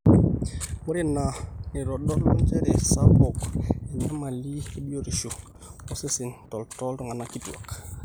ore ina neitodolu njere sapuk enyamali ebiotishu osesen tooltung'anak kitwaak